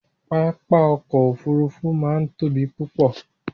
papá ọ̀kọ̀ ofúrúfú máa ń tóbi púpọ̀